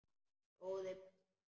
Góði besti.!